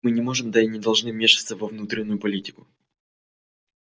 мы не можем да и не должны вмешиваться во внутреннюю политику